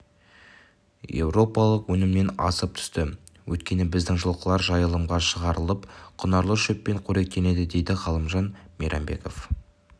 еуропалық өнімнен асып түсті өйткені біздің жылқылар жайылымға шығарылып құнарлы шөппен қоректенеді дейді ғалымжан мейрамбеков